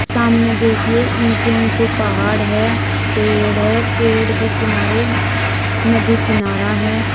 सामने देखिए ऊंचे ऊंचे पहाड़ है पेड़ है पेड़ के किनारे नदी किनारा है।